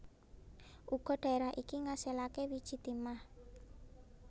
Uga dhaerah iki ngasilake wiji timah